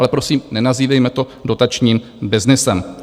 Ale prosím, nenazývejme to dotačním byznysem.